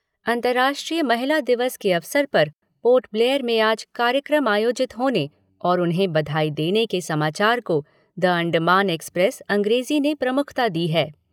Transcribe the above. अंतर्राष्ट्रीय महिला दिवस के अवसर पर पोर्ट ब्लेयर में आज कार्यक्रम आयोजित होने और उन्हें बधाई देने के समाचार को द अण्डमान एक्सप्रेस अंग्रेज़ी ने प्रमुखता दी है।